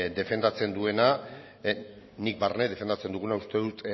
defendatzen duena nik barne defendatzen duguna uste dut